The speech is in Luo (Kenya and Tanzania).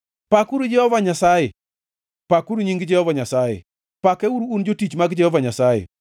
Pakuru Jehova Nyasaye. Pakuru nying Jehova Nyasaye; pakeuru, un jotich mag Jehova Nyasaye,